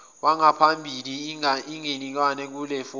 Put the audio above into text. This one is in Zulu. wangaphambilini inganikezwa kulelifomu